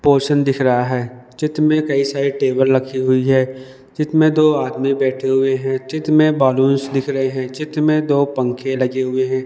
Portion दिख रहा है चित्र में कई सारे टेबल लखी हुई है चित्र में दो आदमी बैठे हुए हैं चित्र में बलून्स दिख रहे हैं चित्र में दो पंखे लगे हुए हैं।